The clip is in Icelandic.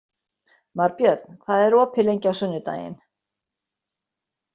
Marbjörn, hvað er opið lengi á sunnudaginn?